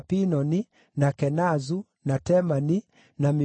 na Kenazu, na Temani, na Mibizaru,